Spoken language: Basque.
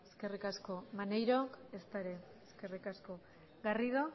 eskerrik asko maneirok ezta ere eskerrik asko garrido